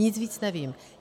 Nic víc nevím.